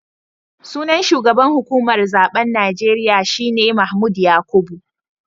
Sunan shugaban hukumar zaben Najeriya shi ne Mahmood Yakubu